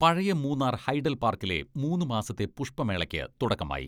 പഴയ മൂന്നാർ ഹൈഡൽ പാർക്കിലെ മൂന്ന് മാസത്ത പുഷ്പമേളക്ക് തുടക്കമായി.